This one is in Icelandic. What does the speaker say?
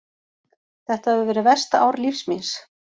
Þetta hefur verið versta ár lífs míns.